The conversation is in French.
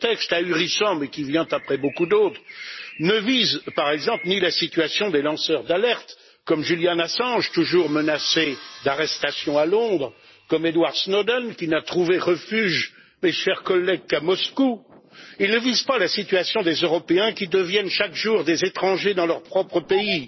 Ce texte ahurissant, mais qui vient après beaucoup d'autres, ne vise, par exemple, ni la situation des lanceurs d'alerte comme Julian Assange, toujours menacé d'arrestation à Londres, comme Edward Snowden, qui n'a trouvé refuge, mes chers collègues, qu'à Moscou ni la situation des Européens qui deviennent chaque jour des étrangers dans leur propre pays,